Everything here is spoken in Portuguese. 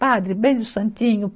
Padre, beija o santinho.